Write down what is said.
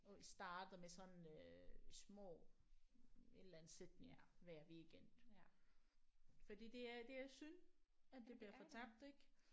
Og I starter med sådan øh små et eller andet sætning hver weekend fordi det er det er synd at det bliver fortabt ik